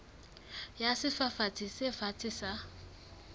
ya sefafatsi se fatshe sa